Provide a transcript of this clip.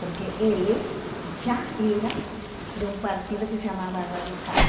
Porque ele já era de um partido que se chamava Radical.